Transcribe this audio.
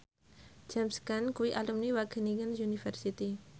James Caan kuwi alumni Wageningen University